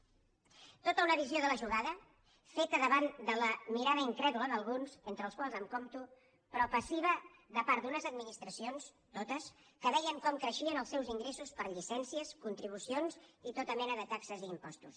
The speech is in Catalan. tota una visió de la jugada feta davant de la mirada incrèdula d’alguns entre els qual em compto però passiva de part d’unes administracions totes que veien com creixien els seus ingressos per llicències contribucions i tota mena de taxes i impostos